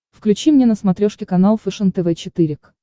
включи мне на смотрешке канал фэшен тв четыре к